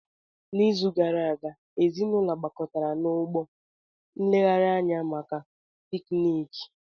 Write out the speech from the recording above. N'izu gara aga, ezinaụlọ gbakọtara na Ọgbọ nleghari anya maka pikniki.